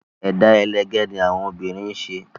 Ẹ̀dá ẹlẹgẹ́ ni àwọn obìnrin ń ṣe